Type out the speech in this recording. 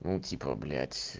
ну типа блять